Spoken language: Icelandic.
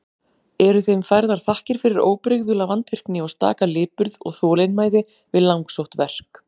Eru þeim færðar þakkir fyrir óbrigðula vandvirkni og staka lipurð og þolinmæði við langsótt verk.